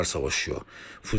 Şu anda cümlələr savaşıyor.